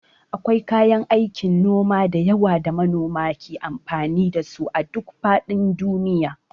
Akwai kayan aikin noma da yawa da manoma ke amfani da su a duk faɗin duniya.